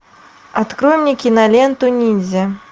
открой мне киноленту ниндзя